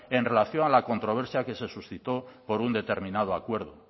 en relación a la controversia que se suscitó por un determinado acuerdo